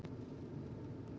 Ég var ekkert stressaður.